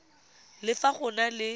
le fa go na le